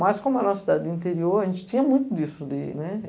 Mas, como era uma cidade do interior, a gente tinha muito disso.